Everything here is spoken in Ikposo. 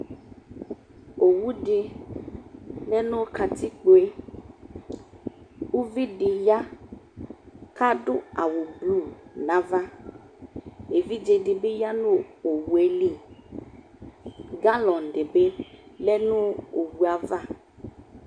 ɔwʋ di yanʋ katikpɔɛ, ʋvidi ya kadʋ awʋ blue nʋ aɣa, ɛvidzɛ dibi yanʋ ɔwʋɛli, gallon dibi yanʋ ɔwʋɛ aɣa